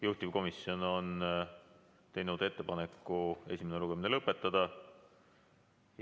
Juhtivkomisjon on teinud ettepaneku esimene lugemine lõpetada.